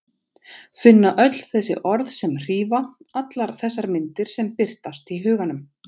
Finna öll þessi orð sem hrífa, allar þessar myndir sem birtast í huganum.